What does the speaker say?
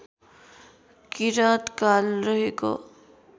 किराँत काल रहेको